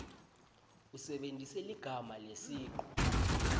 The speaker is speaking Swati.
usebentise ligama lesicu